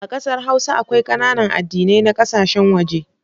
A kasar hausa, akwai kananan addinai na kasashen waje.